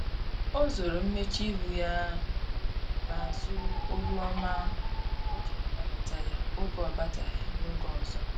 o zoro mmechuihu ya na azu olu ọma ojiri nabata ya oge ọ bataghi na-oge ọzọ